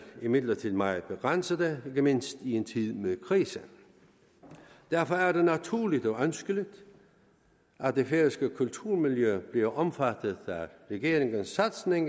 imidlertid meget begrænsede ikke mindst i en tid med krise derfor er det naturligt og ønskeligt at det færøske kulturmiljø bliver omfattet af regeringens satsning